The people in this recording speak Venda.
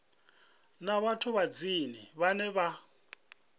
na vhathu vhanzhi vhane vha